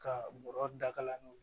Ka bɔrɔ dakalan n'o ye